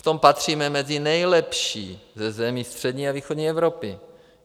V tom patříme mezi nejlepší ze zemí střední a východní Evropy.